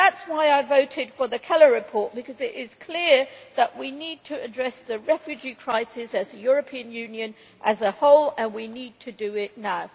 That is why I voted for the Keller report because it is clear that we need to address the refugee crisis as the European Union as a whole, and we need to do it now.